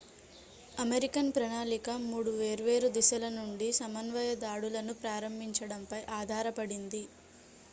American ప్రణాళిక 3 వేర్వేరు దిశల నుండి సమన్వయ దాడులను ప్రారంభించడంపై ఆధారపడింది